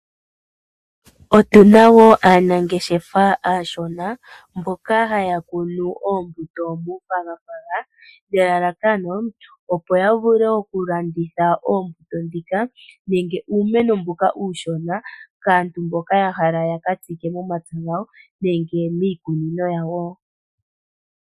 Otuna woo aanangeshefa aashona mboka haya kunu oombuto muupagapaga, nelalakano opo yavule okulanditha oombuto ndhika nenge uumeno mbuka uushona kaantu mboka yahala yaka tsike momapya gawo nenge miikununo yawo .